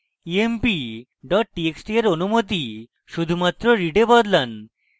emp txt এর অনুমতি শুধুমাত্র read এ বদলান